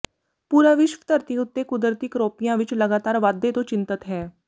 ਪੂਰਾ ਵਿਸ਼ਵ ਧਰਤੀ ਉੱੱਤੇ ਕੁਦਰਤੀ ਕਰੋਪੀਆਂ ਵਿੱੱਚ ਲਗਾਤਾਰ ਵਾਧੇ ਤੋਂ ਚਿੰਤਤ ਹੈ